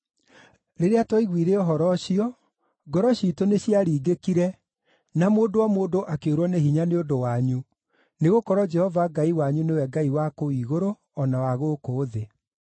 Rĩrĩa twaiguire ũhoro ũcio, ngoro ciitũ nĩciaringĩkire na ũmĩrĩru wa mũndũ o mũndũ akĩũrwo nĩ hinya nĩ ũndũ wanyu, nĩgũkorwo Jehova Ngai wanyu nĩwe Ngai wa kũu igũrũ o na wa gũkũ thĩ.